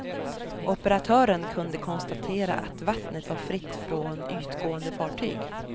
Operatören kunde konstatera att vattnet var fritt från ytgående fartyg.